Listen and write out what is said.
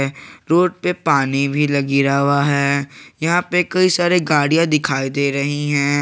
Road पे पानी भी गिरा हुआ है यहां पे कई सारे गाड़ियां दिखाई दे रही हैं।